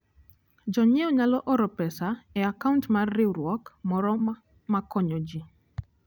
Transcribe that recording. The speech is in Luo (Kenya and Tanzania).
Jonyiewo nyalo oro pesa e akaunt mar riwruok moro ma konyo ji.